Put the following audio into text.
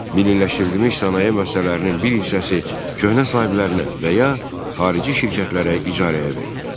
Milliləşdirilmiş sənaye müəssisələrinin bir hissəsi köhnə sahiblərinə və ya xarici şirkətlərə icarəyə verildi.